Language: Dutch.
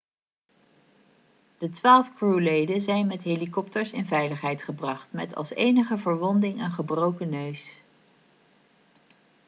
de twaalf crewleden zijn met helikopters in veiligheid gebracht met als enige verwonding een gebroken neus